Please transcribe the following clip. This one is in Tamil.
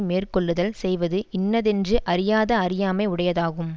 மேற்கொள்ளுதல் செய்வது இன்னதென்று அறியாத அறியாமை உடையதாகும்